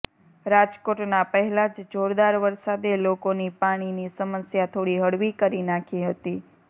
રાજકોટના પહેલાંજ જોરદાર વરસાદે લોકોની પાણીની સમસ્યા થોડી હળવી કરી નાંખી હતી